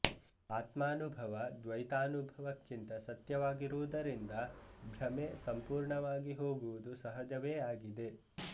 ಆತ್ಮಾನುಭವ ದ್ವೈತಾನುಭವಕ್ಕಿಂತ ಸತ್ಯವಾಗಿರುವುದರಿಂದ ಭ್ರಮೆ ಸಂಪೂರ್ಣವಾಗಿ ಹೋಗುವುದು ಸಹಜವೇ ಆಗಿದೆ